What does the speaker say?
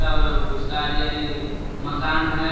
और उसका आरी आरी मकान है।